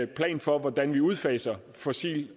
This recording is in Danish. plan for hvordan vi udfaser fossil